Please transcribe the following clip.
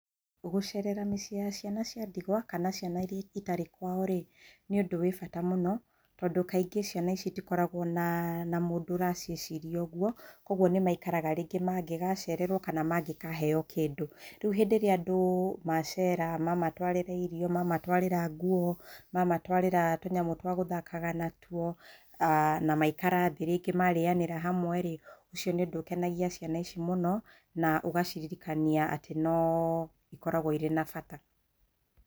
Gũcerera mĩciĩ ya ciana cĩa ndigwa kana ciana iria itarĩ kwao rĩ nĩ ũndũ wĩ bata mũno tondũ kaingĩ ciana ici itikoragwo na mũndũ ũraciĩciria ũguo kwoguo nĩmaikaraga rĩngĩ mangĩgacererwo kana mangĩkaheo kĩndũ. Rĩu hĩndĩ ĩria andũ macera mamatwarĩra irio, mamatwarĩra nguo, mamatwarĩra tũnyamũ twa gũthakaga natuo na maikara thĩ rĩngĩ marĩyanĩra hamwe rĩ ũcio nĩ ũndũ ũkenagia ciana ici mũno na ũgaciririkania atĩ no ikoragwo irĩ na bata.